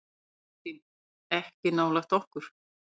Kristín: Ekki nálægt okkur.